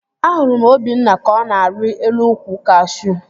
Ahụrụ m Obinna ka ọ na-arị elu ukwu kashuu